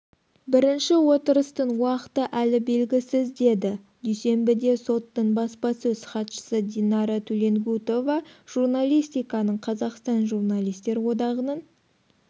бірінші отырыстың уақыты әлі белгісіз деді дүйсенбіде соттың баспасөз хатшысы динара туленгутова журналистиканың қазақстан журналистер одағының